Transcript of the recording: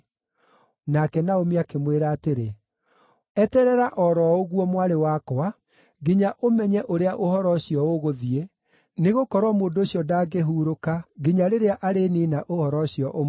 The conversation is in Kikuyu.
Nake Naomi akĩmwĩra atĩrĩ, “Eterera o ro ũguo, mwarĩ wakwa, nginya ũmenye ũrĩa ũhoro ũcio ũgũthiĩ, nĩgũkorwo mũndũ ũcio ndangĩhurũka nginya rĩrĩa aniine ũhoro ũcio ũmũthĩ.”